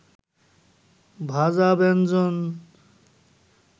ভাজা ব্যঞ্জন